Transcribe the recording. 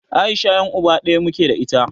Aisha yan'uba ɗaya muke da ita.